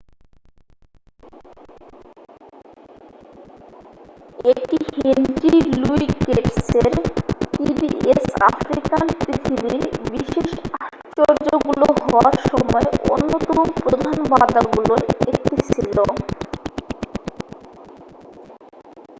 এটি Henry Louis গেটসের PBS African পৃথিবীর বিশেষ আশ্চর্যগুলো হওয়ার সময় অন্যতম প্রধান বাধাগুলোর একটি ছিল